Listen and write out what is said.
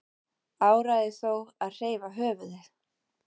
Áræði þó að hreyfa höfuðið.